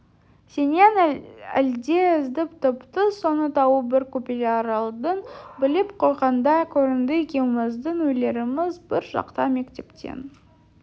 сенен әлде іздеп тіпті соны тауып бір құпияларыңды біліп қойғандай көрінді екеуміздің үйлеріміз бір жақта мектептен